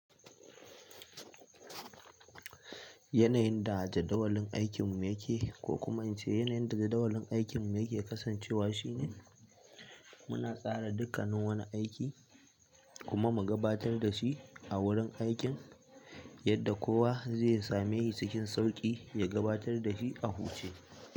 Yanayin da jadawalin aikinmu yake ko kuma in ce yanayin da jadawalin aikinmu yake kasancewa shine muna tsara dukkanin wani aiki kuma mu gabatar da shi a wurin aikin yadda kowa zai same shi cikin sauƙi ya gabatar da shi a huce.